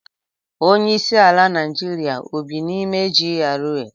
Onye isi ala Naijiria o bị n'ime GRA?